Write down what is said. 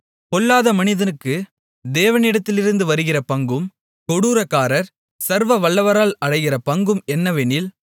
பொல்லாத மனிதனுக்கு தேவனிடத்திலிருந்து வருகிற பங்கும் கொடூரக்காரர் சர்வவல்லவரால் அடைகிற பங்கும் என்னவெனில்